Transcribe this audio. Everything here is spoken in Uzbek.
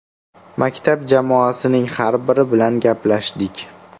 Maktab jamoasining har biri bilan gaplashdik.